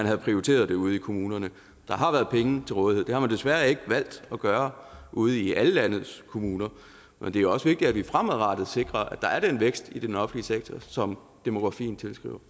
havde prioriteret det ude i kommunerne der har været penge til rådighed det har man desværre ikke valgt at gøre ude i alle landets kommuner men det er også vigtigt at vi fremadrettet sikrer at der er den vækst i den offentlige sektor som demografien